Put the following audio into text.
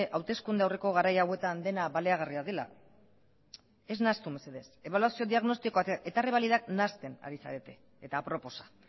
hauteskunde aurreko garai hauetan dena baliagarria dela ez nahastu mesedez ebaluazio diagnostikoak eta errebalidak nahasten ari zarete eta aproposa